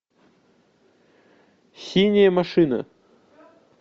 синяя машина